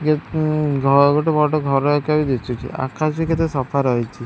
ଗୋଟେ ବଡ ଘର ଆକାରର ଦିଶୁଚି ଆକାଶ ବି କେତେ ସଫା ରହିଛି ।